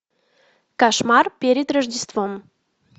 кошмар перед рождеством